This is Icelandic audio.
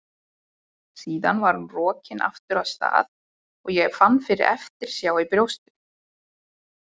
Síðan var hún rokin aftur af stað og ég fann fyrir eftirsjá í brjóstinu.